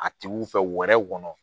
A tigiw fɛ wɛrɛw kɔnɔ